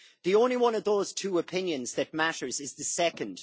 The only one of those two opinions that matters is the second.